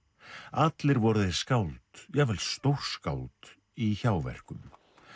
allir voru þeir skáld jafnvel stórskáld í hjáverkum